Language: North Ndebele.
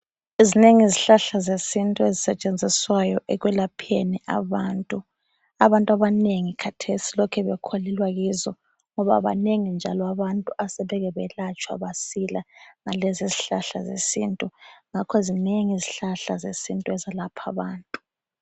Zinengi izihlahla zesintu ezisetshenziswayo ekulapheni abantu, abantu abanengi kathesi balokhe bekholelwa kizo ngoba banengi njalo abantu asebake belatshwa basila ngalezi zihlahla zesintu ngakho zinengi izihlahla zesintu ezilapha abantu.